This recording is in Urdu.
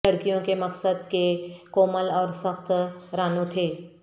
لڑکیوں کے مقصد کے کومل اور سخت رانوں تھے